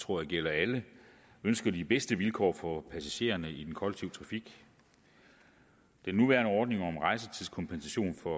tror jeg gælder alle ønsker de bedste vilkår for passagererne i den kollektive trafik den nuværende ordning om rejsetidskompensation for